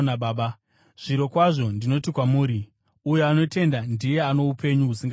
Zvirokwazvo ndinoti kwamuri, uyo anotenda ndiye ano upenyu husingaperi.